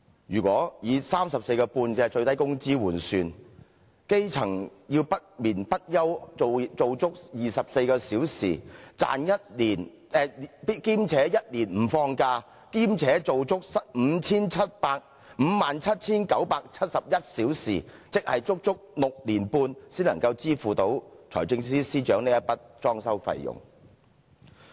如果以 34.5 元最低工資換算，基層要不眠不休工作24小時，並且1年不放假，做足 57,971 小時，即是足足6年半才能支付財政司司長這筆裝修費用。